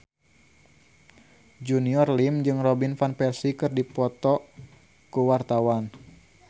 Junior Liem jeung Robin Van Persie keur dipoto ku wartawan